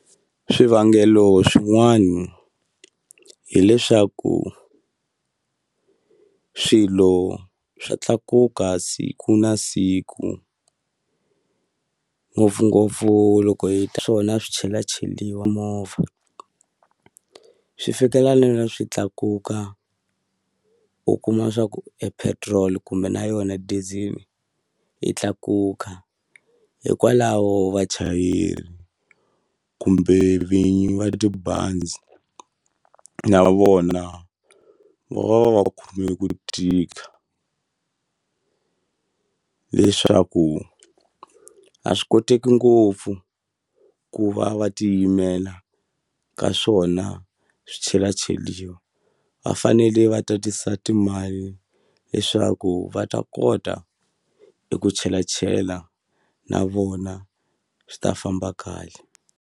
Swivangelo swin'wana hileswaku swilo swa tlakuka siku na siku, ngopfungopfu loko hi swona swi swichelacheriwa movha. Swi fikela swi tlakuka u kuma leswaku e petrol kumbe na yona diesel yi tlakuka, hikwalaho vachayeri u kumbe vinyi va tibazi na vona va va va va khome ku tika. Leswaku a swi koteki ngopfu ku va va tiyimela ka swona swichelacheriwa. Va fanele va tatisa timali leswaku va ta kota eku chelachela na vona swi ta famba kahle.